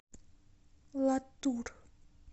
латур